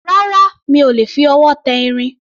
Rárá, mi ò lè fi ọwọ́ tẹ irin